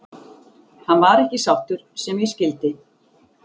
Hann var ekki sáttur sem ég skildi.